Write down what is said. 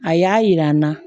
A y'a yira n na